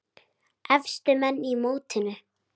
Efstu menn í mótinu